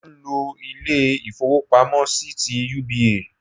Mò n lo Ilé ìfowópamọ́ sí ti UBA